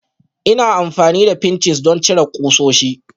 Ina amfani da pinches don cire ƙusoshi